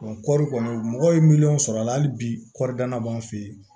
kɔɔri kɔni mɔgɔ ye miliyɔn sɔrɔ a la hali bi kɔɔri danna b'an fɛ yen